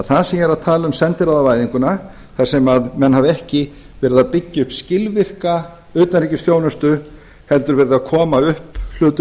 það er það sem ég er að tala um sendiráðavæðinguna þar sem menn hafa ekki verið að byggja upp skilvirka utanríkisþjónustu heldur verið að koma upp hlutum